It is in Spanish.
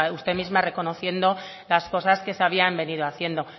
usted misma reconociendo las cosas que se habían venido haciendo